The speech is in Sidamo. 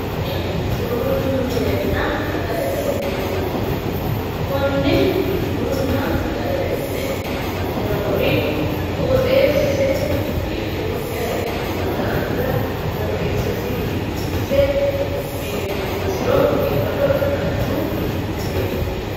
Kuni bunu minenna sagalete mineeti. Konne bununna sagalete mine noori qooxeessise biifinokkiha ikkino daafira qoxeessasi biifisse biinfinsiro biifado ikkanno mineeti.